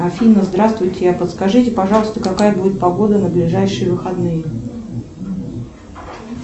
афина здравствуйте подскажите пожалуйста какая будет погода на ближайшие выходные